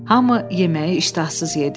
Hamı yeməyi iştahsız yedi.